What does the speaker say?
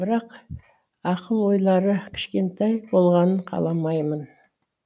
бірақ ақыл ойлары кішкентай болғанын қаламаймын